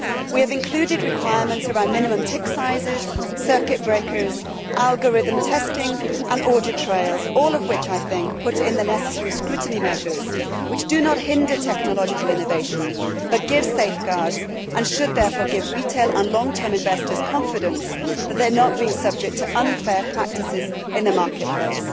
We have included requirements about minimum tick sizes, circuit breakers, algorithm testing and audit trails, all of which I think put it in the necessary scrutiny measures which do not hinder technological innovation but give safeguards and should therefore give retail and long term investors confidence that they are not being subjected to unfair practices in the market place.